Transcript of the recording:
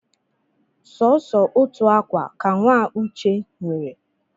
Sọsọ otu akwa ka nwa Uche nwere